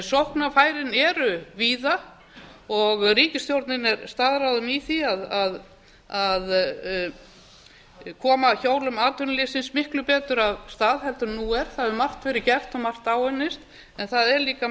sóknarfærin eru víða og ríkisstjórnin er staðráðin í því að koma hjólum atvinnulífsins miklu betur af stað en nú er það hefur margt verið gert og margt áunnist en það er líka